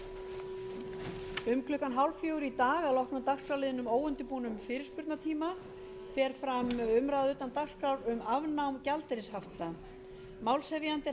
um klukkan þrjú þrjátíu í dag að loknum dagskrárliðnum óundirbúnum fyrirspurnatíma fer fram umræða utan dagskrár um afnám gjaldeyrishafta málshefjandi er